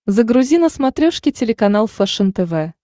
загрузи на смотрешке телеканал фэшен тв